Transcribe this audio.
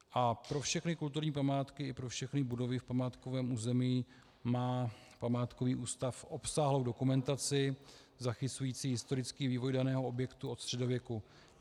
A pro všechny kulturní památky i pro všechny budovy v památkovém území má památkový ústav obsáhlou dokumentaci zachycující historický vývoj daného objektu od středověku.